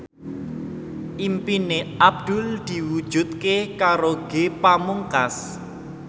impine Abdul diwujudke karo Ge Pamungkas